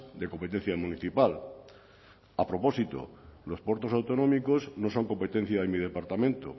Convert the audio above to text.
de competencia municipal a propósito los puertos autonómicos no son competencia de mi departamento